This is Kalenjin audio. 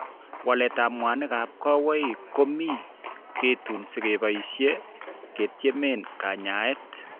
Waletab mwanikab kawaik ko mi ketooni sikeboishe ketieme kanyaet.